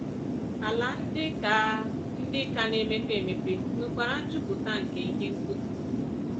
Ala ndị ka ndị ka na-emepe emepe nwekwara njupụta nke ihe mkpofu.